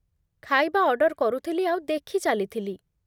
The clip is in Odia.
ଖାଇବା ଅର୍ଡର୍ କରୁଥିଲି ଆଉ ଦେଖିଚାଲିଥିଲି।